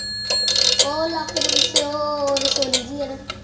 ਉਹ ਲੱਕ ਦੇ ਪਿੱਛੇ ਉਹ ਰਸੋਲੀ ਜਿਹੀ ਏ ਨਾ।